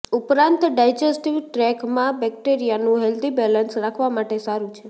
ઉપરાંત ડાયજેસ્ટિવ ટ્રેકમાં બેક્ટેરિયાનું હેલ્ધી બેલેન્સ રાખવા માટે સારું છે